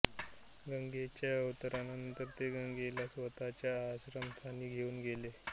गंगेच्या अवतरणानंतर ते गंगेला स्वतःच्या आश्रमस्थानी घेऊन गेले